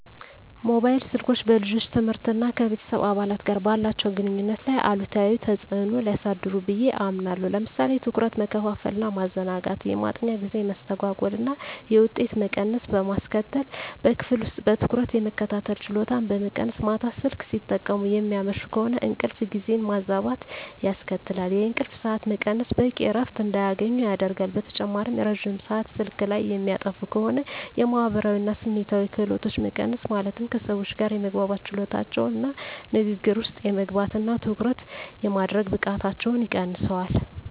ሞባይል ስልኮች በልጆች ትምህርት እና ከቤተሰብ አባላት ጋር ባላቸው ግንኙነት ላይ አሉታዊ ተጽዕኖ ሊያሳድሩ ብየ አምናለሁ። ለምሳሌ ትኩረት መከፋፈል እና ማዘናጋት፣ የማጥኛ ጊዜ መስተጓጎል እና የውጤት መቀነስ በማስከትል፣ በክፍል ውስጥ በትኩረት የመከታተል ችሎታን በመቀነስ፣ ማታ ስልክ ሲጠቀሙ የሚያመሹ ከሆነ እንቅልፍ ጊዜን ማዛባት ያስከትላል፣ የእንቅልፍ ሰዓት መቀነስ በቂ እረፍት እንዳያገኙ ያደርጋል። በተጨማሪም ረጅም ሰአት ስልክ ላይ የሚያጠፉ ከሆነ የማህበራዊ እና ስሜታዊ ክህሎቶች መቀነስ ማለትም ከሰዎች ጋር የመግባባት ችሎታቸውን እና ንግግር ውስጥ የመግባት እና ትኩረት የማድረግ ብቃታቸውን ይቀንሰዋል።